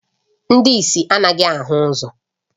Ndị ìsì anaghị ahụ ụzọ